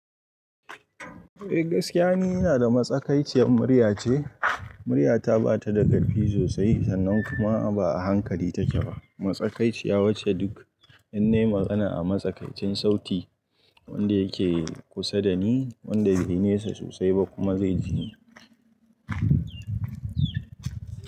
Eh gaskiya ne, ina da matsakaiciyar murya ce. Murya ta ba ta da karfi sosai sannan kuma ba a hankali ta ke ba. Matsakaiciya wacce duk in nayi magana a matsakaicin sauti wanda yake kusa da ni, wanda bai nesa sosai ba kuma zai ji ni.